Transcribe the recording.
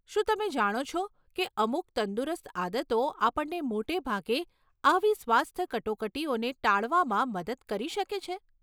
શું તમે જાણો છો કે અમુક તંદુરસ્ત આદતો આપણને મોટેભાગે આવી સ્વાસ્થ્ય કટોકટીઓને ટાળવામાં મદદ કરી શકે છે?